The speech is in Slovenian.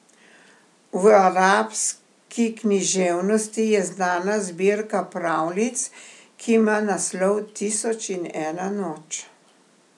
V arabski književnosti je znana zbirka pravljic, ki ima naslov Tisoč in ena noč.